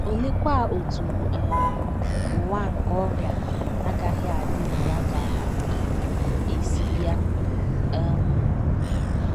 Oleekwa otú um ụwa nke ọrịa na - agaghị adị na ya ga - um esi bịa? um